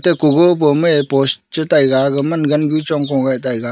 ig kogo bo me post che tai ga gaman gangu chongko ngai tai ga.